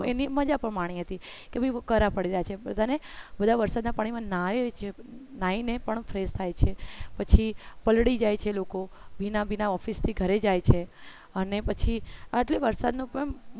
એની મજા પણ માની હતી કે ભાઈ કરા પડ્યા છે બધા વરસાદ ના પાણી એ નાય છે ને કારણે પણ fresh થાય છે પછી પલળી જાય છે લોકો ભીના ભીના office થી ઘરે જાય છે અને પછી આટલી વરસાદનું પણ